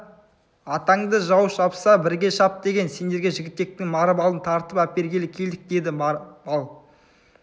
атаңды жау шапса бірге шап деген сендерге жігітектің бар малын тартып әпергелі келдік деді бар мал